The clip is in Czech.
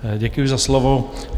Děkuji za slovo.